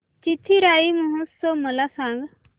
चिथिराई महोत्सव मला सांग